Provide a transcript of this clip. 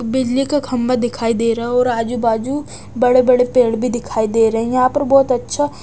बिजली का खंभा दिखाई दे रहा है और आजू बाजू बड़े बड़े पेड़ भी दिखाई दे रहे हैं यहां पर बहुत अच्छा--